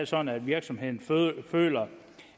sådan at virksomheden føler